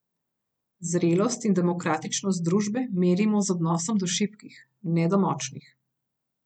Zrelost in demokratičnost družbe merimo z odnosom do šibkih, ne do močnih.